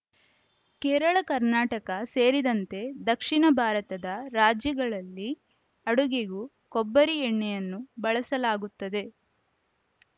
ಕೇರಳ ಕರ್ನಾಟಕ ಸೇರಿದಂತೆ ದಕ್ಷಿಣ ಭಾರತದ ರಾಜ್ಯಗಳಲ್ಲಿ ಅಡುಗೆಗೂ ಕೊಬ್ಬರಿ ಎಣ್ಣೆಯನ್ನು ಬಳಸಲಾಗುತ್ತದೆ